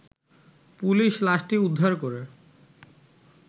police লাশটি উদ্ধার করে